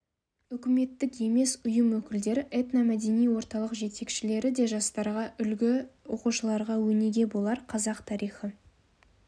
үкіметтік емес ұйым өкілдері этно-мәдени орталық жетекшілері де жастарға үлгі оқушыларға өнеге болар қазақ тарихы